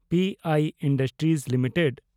P I industries limited